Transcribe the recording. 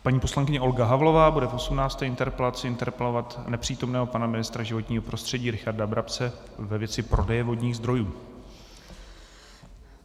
Paní poslankyně Olga Havlová bude v 18. interpelaci interpelovat nepřítomného pana ministra životního prostředí Richarda Brabce ve věci prodeje vodních zdrojů.